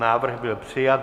Návrh byl přijat.